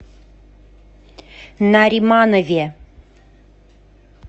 нариманове